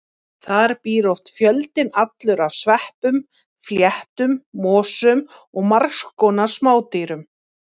Þar býr oft fjöldinn allur af sveppum, fléttum, mosum og margs konar smádýrum.